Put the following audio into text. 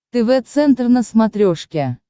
тв центр на смотрешке